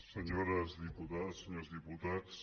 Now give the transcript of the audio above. senyores diputades senyors diputats